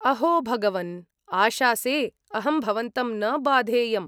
अहो भगवन्! आशासे अहं भवन्तं न बाधेयम्।